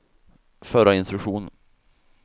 förra instruktion